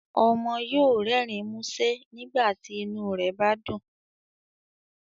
Ọmọ yóò rẹrin musẹ nígbàtí inu rẹ bá dún